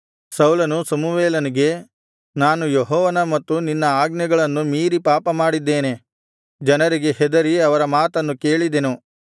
ಸೌಲನು ಸಮುವೇಲನಿಗೆ ನಾನು ಯೆಹೋವನ ಮತ್ತು ನಿನ್ನ ಆಜ್ಞೆಗಳನ್ನು ಮೀರಿ ಪಾಪಮಾಡಿದ್ದೇನೆ ಜನರಿಗೆ ಹೆದರಿ ಅವರ ಮಾತನ್ನು ಕೇಳಿದೆನು